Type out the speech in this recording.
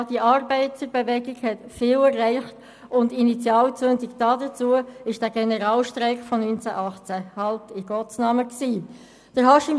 Die Arbeiterbewegung hat viel erreicht, und die Initialzündung dazu war halt in Gottes Namen der Generalstreik von 1918.